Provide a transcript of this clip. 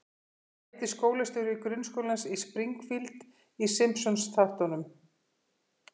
Hvað heitir skólastjóri grunnskólans í Springfield í Simpsons-þáttunum?